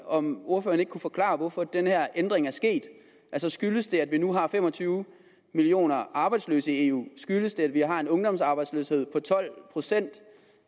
om ordføreren ikke kunne forklare hvorfor den her ændring er sket altså skyldes det at vi nu har fem og tyve millioner arbejdsløse i eu skyldes det at vi har en ungdomsarbejdsløshed på tolv procent